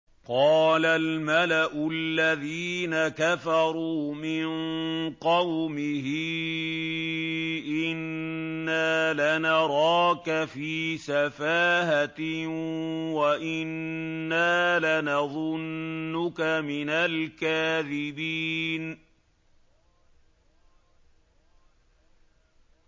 قَالَ الْمَلَأُ الَّذِينَ كَفَرُوا مِن قَوْمِهِ إِنَّا لَنَرَاكَ فِي سَفَاهَةٍ وَإِنَّا لَنَظُنُّكَ مِنَ الْكَاذِبِينَ